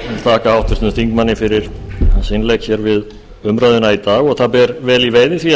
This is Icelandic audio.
þakka háttvirtum þingmanni fyrir hans innlegg hér við umræðuna í dag og það ber vel í veiði því